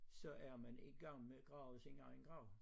Så er man i gang med at grave sin egen grav